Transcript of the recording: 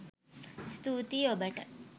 ස්තූතී ඔබට!